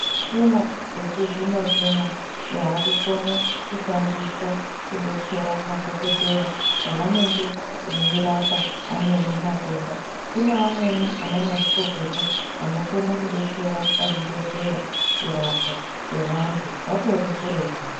Michina yechi zvino zvino ya kukone ku shandiswa ku detsera madhokodheya pa vanenge vei rapa amweni matenda kune vamweni ana ma zvikokota ano kona ku detsera pa zvibhedhleya ku rapwa kwe vantu vatori kuretu.